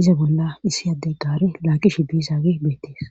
iza bolla issi adde gaare laagishe dizaage beettees